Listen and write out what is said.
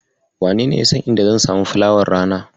Wanene yasan inda zan samu fulawar rana?